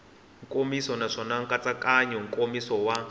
nkomiso naswona nkatsakanyo nkomiso wa